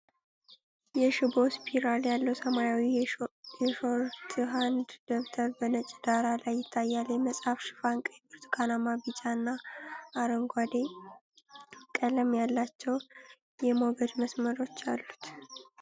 የሽቦ ስፒራል ያለው ሰማያዊ የሾርትሃንድ ደብተር በነጭ ዳራ ላይ ይታያል። የመጽሐፉ ሽፋን ቀይ፣ ብርቱካናማ፣ ቢጫ እና አረንጓዴ ቀለም ያላቸው የሞገድ መስመሮች አሉት።